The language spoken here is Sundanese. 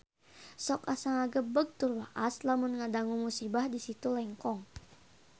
Sok asa ngagebeg tur waas lamun ngadangu musibah di Situ Lengkong